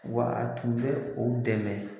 Wa a tun bɛ o dɛmɛ.